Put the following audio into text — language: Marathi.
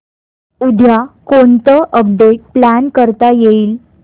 उद्या कोणतं अपडेट प्लॅन करता येईल